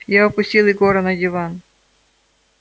я опустил егора на диван